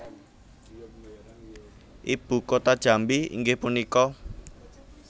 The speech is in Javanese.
Ibu kota Jambi inggih punika